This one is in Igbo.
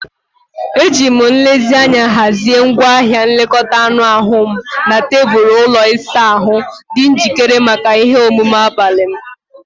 Ejiri m nlezianya hazie ngwaahịa nlekọta anụ ahụ m na tebụl ụlọ ịsa ahụ, dị njikere maka ihe omume abalị m.